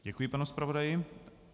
Děkuji panu zpravodaji.